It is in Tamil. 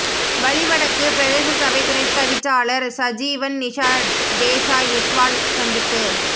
வலிவடக்கு பிரதேசசபை துணைத் தவிசாளர் சஜீவன் நிஷா டேஷாய் விஸ்வால் சந்திப்பு